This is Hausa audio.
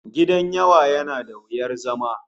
Gidan yawa yana da wuyar zama